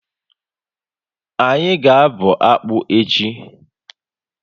Anyị ga abụ akpu echi